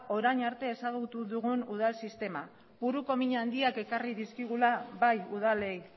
orain arte ezagutu dugun udal sistema buruko min handiak ekarri dizkigula bai udalei